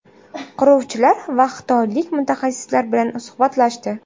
Quruvchilar va xitoylik mutaxassislar bilan suhbatlashdi.